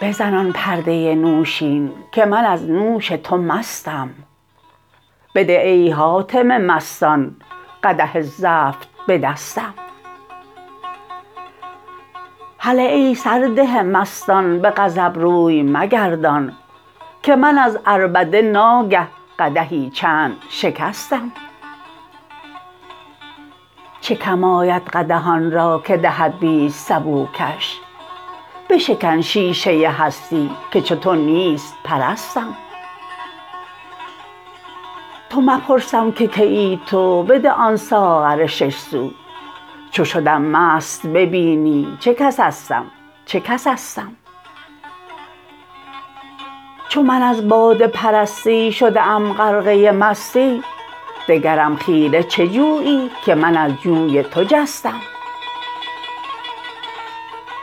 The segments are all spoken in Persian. بزن آن پرده نوشین که من از نوش تو مستم بده ای حاتم مستان قدح زفت به دستم هله ای سرده مستان به غضب روی مگردان که من از عربده ناگه قدحی چند شکستم چه کم آید قدح آن را که دهد بیست سبوکش بشکن شیشه هستی که چو تو نیست پرستم تو مپرسم که کیی تو بده آن ساغر شش سو چو شدم مست ببینی چه کسستم چه کسستم چو من از باده پرستی شده ام غرقه مستی دگرم خیره چه جویی که من از جوی تو جستم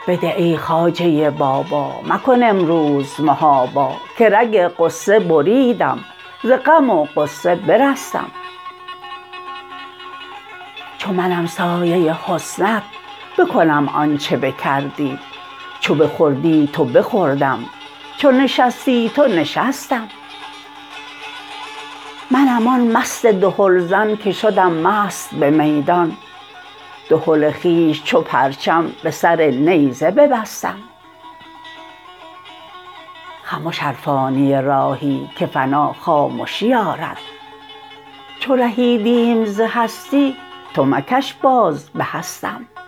بده ای خواجه بابا مکن امروز محابا که رگ غصه بریدم ز غم و غصه برستم چو منم سایه حسنت بکنم آنچ بکردی چو بخوردی تو بخوردم چو نشستی تو نشستم منم آن مست دهلزن که شدم مست به میدان دهل خویش چو پرچم به سر نیزه ببستم خمش ار فانی راهی که فنا خامشی آرد چو رهیدیم ز هستی تو مکن باز به هستم